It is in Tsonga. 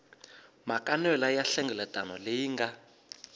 makanelwa ya nhlengeletano leyi nga